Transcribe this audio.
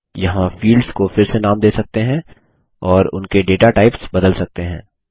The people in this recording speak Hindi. यहाँ फील्ड्स को फिर से नाम दे सकते हैं और उनके डेटा टाइप्स बदल सकते हैं